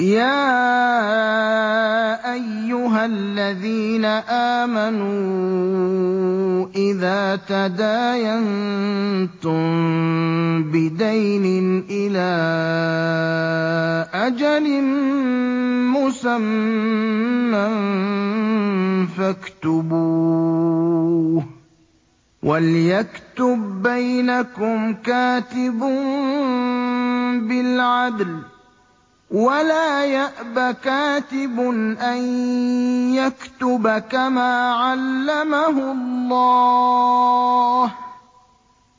يَا أَيُّهَا الَّذِينَ آمَنُوا إِذَا تَدَايَنتُم بِدَيْنٍ إِلَىٰ أَجَلٍ مُّسَمًّى فَاكْتُبُوهُ ۚ وَلْيَكْتُب بَّيْنَكُمْ كَاتِبٌ بِالْعَدْلِ ۚ وَلَا يَأْبَ كَاتِبٌ أَن يَكْتُبَ كَمَا عَلَّمَهُ اللَّهُ ۚ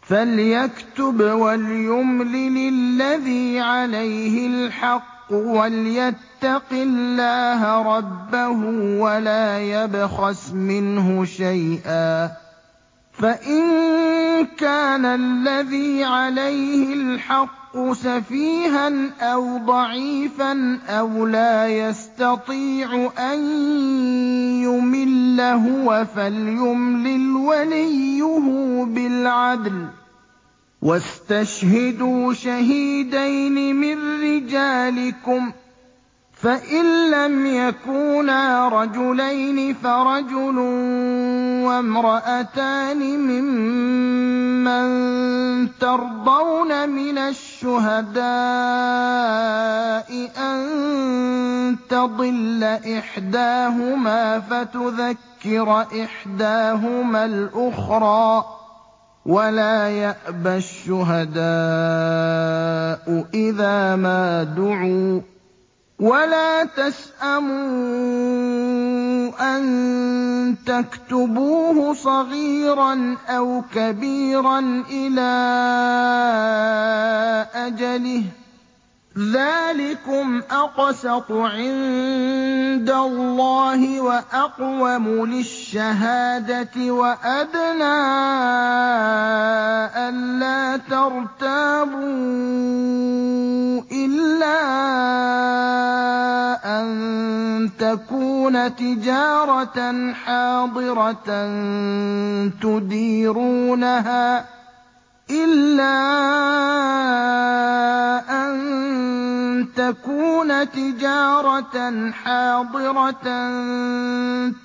فَلْيَكْتُبْ وَلْيُمْلِلِ الَّذِي عَلَيْهِ الْحَقُّ وَلْيَتَّقِ اللَّهَ رَبَّهُ وَلَا يَبْخَسْ مِنْهُ شَيْئًا ۚ فَإِن كَانَ الَّذِي عَلَيْهِ الْحَقُّ سَفِيهًا أَوْ ضَعِيفًا أَوْ لَا يَسْتَطِيعُ أَن يُمِلَّ هُوَ فَلْيُمْلِلْ وَلِيُّهُ بِالْعَدْلِ ۚ وَاسْتَشْهِدُوا شَهِيدَيْنِ مِن رِّجَالِكُمْ ۖ فَإِن لَّمْ يَكُونَا رَجُلَيْنِ فَرَجُلٌ وَامْرَأَتَانِ مِمَّن تَرْضَوْنَ مِنَ الشُّهَدَاءِ أَن تَضِلَّ إِحْدَاهُمَا فَتُذَكِّرَ إِحْدَاهُمَا الْأُخْرَىٰ ۚ وَلَا يَأْبَ الشُّهَدَاءُ إِذَا مَا دُعُوا ۚ وَلَا تَسْأَمُوا أَن تَكْتُبُوهُ صَغِيرًا أَوْ كَبِيرًا إِلَىٰ أَجَلِهِ ۚ ذَٰلِكُمْ أَقْسَطُ عِندَ اللَّهِ وَأَقْوَمُ لِلشَّهَادَةِ وَأَدْنَىٰ أَلَّا تَرْتَابُوا ۖ إِلَّا أَن تَكُونَ تِجَارَةً حَاضِرَةً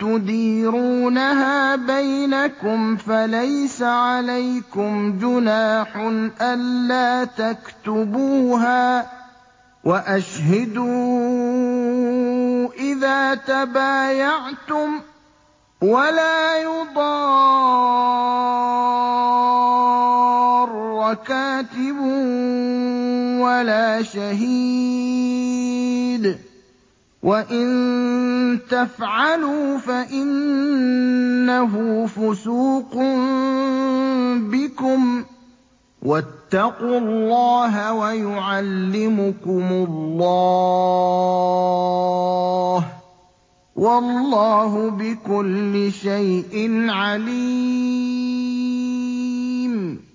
تُدِيرُونَهَا بَيْنَكُمْ فَلَيْسَ عَلَيْكُمْ جُنَاحٌ أَلَّا تَكْتُبُوهَا ۗ وَأَشْهِدُوا إِذَا تَبَايَعْتُمْ ۚ وَلَا يُضَارَّ كَاتِبٌ وَلَا شَهِيدٌ ۚ وَإِن تَفْعَلُوا فَإِنَّهُ فُسُوقٌ بِكُمْ ۗ وَاتَّقُوا اللَّهَ ۖ وَيُعَلِّمُكُمُ اللَّهُ ۗ وَاللَّهُ بِكُلِّ شَيْءٍ عَلِيمٌ